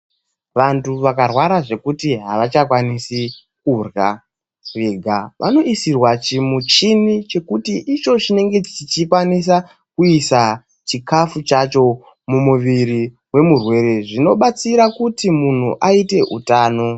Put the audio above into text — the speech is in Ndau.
Vantu vakarwara zvekuti havachakwanisi kurya vega vanoisirwa chimuchini chekuti icho chinenge chichikwanisa kuisa chikafu chacho mumuviri wemurwere zvinobatsira kuti munhu aite hutano.